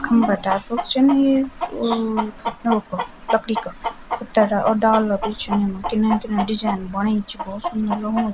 खम्बा टाइप क च न यु ओ खतनो कु लकड़ी का खुतडा और डाला भी च युमा किनर किनर डिजैन बणी छिन भोत सुन्दर लगणु च।